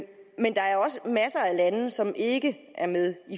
lande som ikke er med i